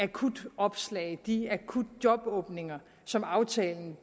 akutopslag de akutjobåbninger som aftalen